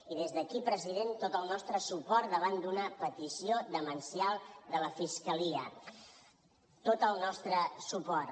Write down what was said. i des d’aquí president tot el nostre suport davant d’una petició demencial de la fiscalia tot el nostre suport